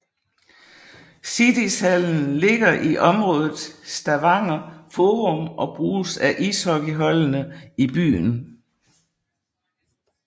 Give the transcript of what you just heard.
Siddishallen ligger i området Stavanger Forum og bruges af ishockeyholdene i byen